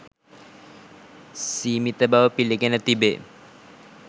සීමිත බව පිළිගෙන තිබේ.